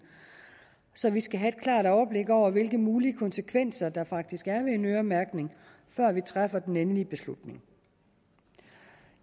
så vi skal have et klart overblik over hvilke mulige konsekvenser der faktisk er ved en øremærkning før vi træffer den endelige beslutning